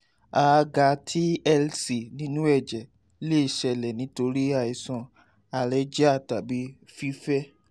a a ga tlc ninu ẹjẹ le ṣẹlẹ nitori aisan alergia tabi fifẹ